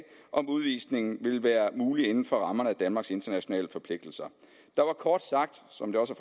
om udvisning ville være mulig inden for rammerne af danmarks internationale forpligtelser der var kort sagt som det også